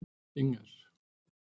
Inger